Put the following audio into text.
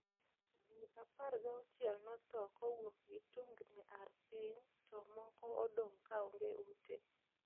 ji apargauchiel nothoo kowuok gi tungni ar piny to moko odong kaonge ute.